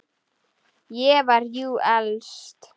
Ég var jú elst.